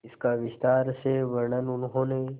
इसका विस्तार से वर्णन उन्होंने